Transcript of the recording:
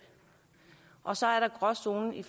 og så er der gråzonen i